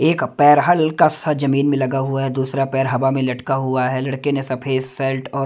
एक पैर हल्का सा जमीन में लगा हुआ है दूसरा पैर हवा में लटका हुआ है लड़के ने सफेद शर्ट और----